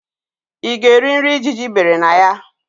Ị ga-eri nri ijiji bere na ya?